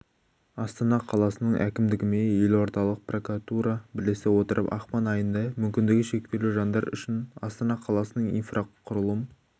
астана қаласының әкімдігімен елордалық прокуратура бірлесе отырып ақпан айында мүмкіндігі шектеулі жандар үшін астана қаласының инфрақұрылым